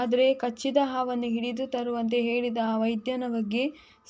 ಆದ್ರೆ ಕಚ್ಚಿದ ಹಾವನ್ನು ಹಿಡಿದು ತರುವಂತೆ ಹೇಳಿದ ಆ ವೈದ್ಯನ ಬಗ್ಗೆ